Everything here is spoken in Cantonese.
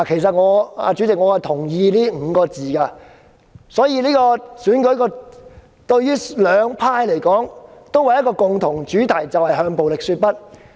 主席，我同意這5個字，所以這次選舉對於兩方黨派而言有一個共同主題，就是"向暴力說不"。